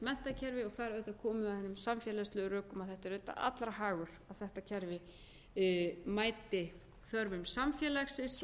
menntakerfi og þar komum við auðvitað að hinum samfélagslegu rökum að þetta er auðvitað allra hagur að þetta kerfi mæti þörfum samfélagsins